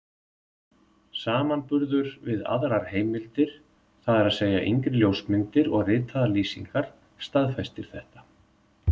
Samanburður við aðrar heimildir, það er að segja yngri ljósmyndir og ritaðar lýsingar, staðfestir þetta.